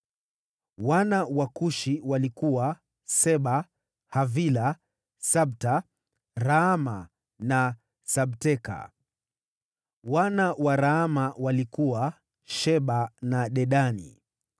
Wana wa Kushi walikuwa: Seba, Havila, Sabta, Raama na Sabteka. Wana wa Raama walikuwa: Sheba na Dedani.